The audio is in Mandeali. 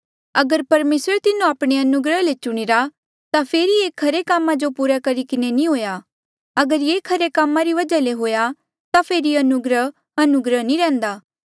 अगर परमेसरे तिन्हो आपणे अनुग्रहा ले चुणीरा ता फेरी ये खरे कामा जो पूरा करी किन्हें नी हुआ अगर ये खरे कामा री वजहा ले हुआ ता फेरी अनुग्रह अनुग्रह नी रैंहयां